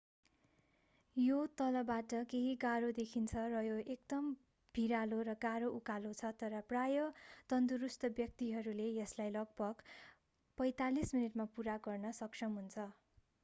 यो तलबाट केही गाह्रो देखिन्छ र यो एक एकदम भिरालो र गाह्रो उकालो छ तर प्रायः तन्दुरुस्त व्यक्तिहरूले यसलाई लगभग 45 मिनेटमा पूरा गर्न सक्षम हुन्छ